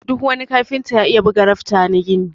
Duk wani kafinta ya iya buga rafta na gini.